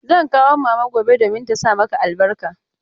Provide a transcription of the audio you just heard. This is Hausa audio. Zan kawo mama gobe domin ta sa masa albarka.